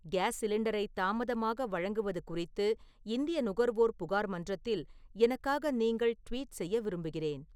case சிலிண்டரை தாமதமாக வழங்குவது குறித்து இந்திய நுகர்வோர் புகார் மன்றத்தில் எனக்காக நீங்கள் ட்வீட் செய்ய விரும்புகிறேன்